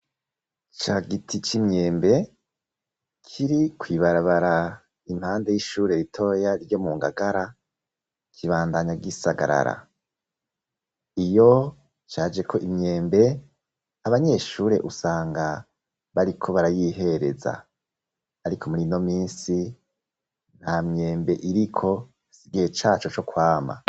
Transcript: Cagiti c'imyembe kiri kw'ibarabara impande y'ishure ritoya ryo mu Ngagara kibandanya gisagarara, iyo cajeko imyembe abanyeshure usanga bari ko barayihereza ariko murino minsi nta myembe iriko igihe caco co kwama.